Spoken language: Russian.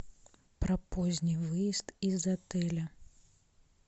про поздний выезд из отеля